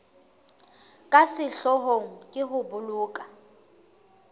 ka sehloohong ke ho boloka